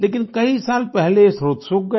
लेकिन कई साल पहले ये स्त्रोत सूख गया